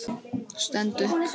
Stend upp.